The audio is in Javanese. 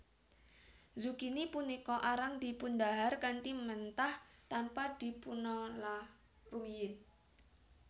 Zukini punika arang dipundhahar kanthi mentah tanpa dipunolah rumiyin